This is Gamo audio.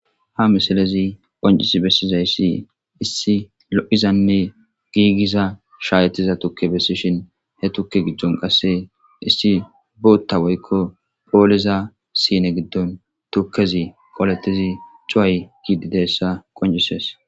ha misilezi qoncisi bessizayssi issi lo'izanne giigiza shayettiza tuke bessishshin he tukke gidon qasse issi botta woykko pooliiza sine giddon tukkezi qoletizi cuway ke'idi dizayssa qoncisees